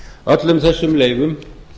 öllum þessum leyfum